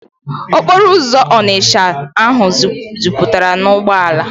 Okporo ụzọ Onitsha ahụ jupụtara n'ụgbọala.